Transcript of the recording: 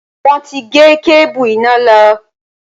Wọn ti gé kébù iná lọ